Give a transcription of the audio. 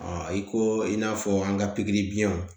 i ko i n'a fɔ an ka pikiri biɲɛw